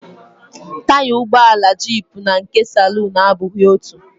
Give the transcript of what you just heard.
Taya ụgbọala jiipụ na nke saluun abụghị otú